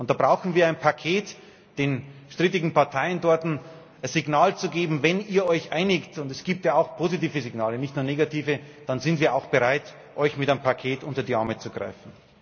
Und da brauchen wir ein Paket, den strittigen Parteien dort ein Signal zu geben Wenn ihr euch einigt und es gibt ja auch positive Signale, nicht nur negative dann sind wir auch bereit, euch mit einem Paket unter die Arme zu greifen.